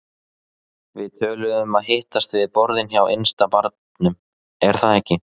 Við töluðum um að hittast við borðin hjá innsta barnum, er það ekki?